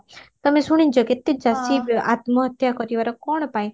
ତମେ ଶୁଣିଚ କେତେ ଚାଷୀ ଆତ୍ମହତ୍ୟା କରିବାର କଣ ପାଇଁ